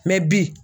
bi